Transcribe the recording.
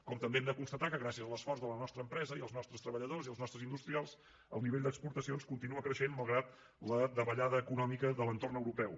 com també hem de constatar que gràcies a l’esforç de la nostra empresa i els nostres treballadors i els nostres industrials el nivell d’exportacions continua creixent malgrat la davallada econòmica de l’entorn europeu